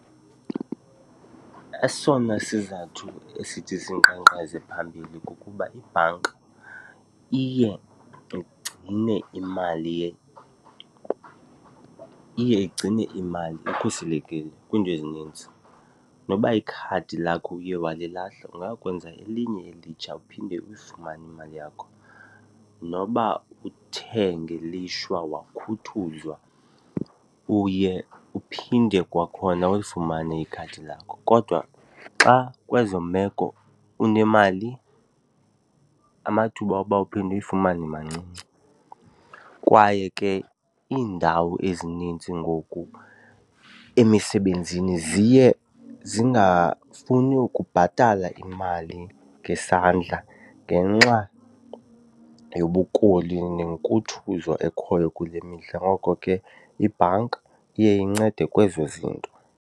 Esona sizathu esithi sinkqenkqeze phambili kukuba ibhanki iye igcine imali , iye igcine imali ikhuselekile kwiinto ezininzi. Noba ikhadi lakho uye walilahla ungayokwenza elinye elitsha uphinde uyifumane imali yakho. Noba uthe ngelishwa wakhuthuzwa uye uphinde kwakhona ulifumane ikhadi lakho. Kodwa xa kwezo meko unemali, amathuba oba uphinde uyifumane mancinci. Kwaye ke iindawo ezinintsi ngoku emisebenzini ziye zingafuni ukubhatala imali ngesandla ngenxa yobukoli nenkuthuzo ekhoyo kule mihla, ngoko ke ibhanki iye incede kwezo zinto.